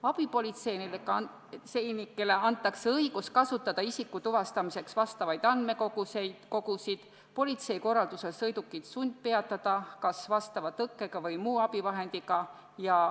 Abipolitseinikele antakse õigus kasutada isiku tuvastamiseks vastavaid andmekogusid ja õigus politsei korraldusel sõidukit sundpeatada – kas vastava tõkke või muu abivahendiga.